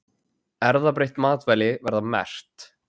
Erfðabreytt matvæli verða merkt